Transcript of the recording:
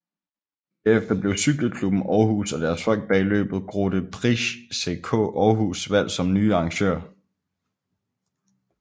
Derefter blev Cykle Klubben Aarhus og deres folk bag løbet Grote Prijs CK Aarhus valgt som nye arrangører